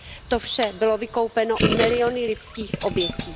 To vše bylo vykoupeno miliony lidských obětí.